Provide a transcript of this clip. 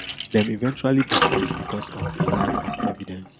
dem eventually dismiss because of a lack of evidence